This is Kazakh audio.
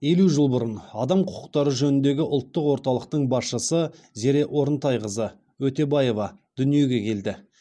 елу жыл бұрын адам құқықтары жөніндегі ұлттық орталықтың басшысы зере орынтайқызы өтебаева дүниеге келді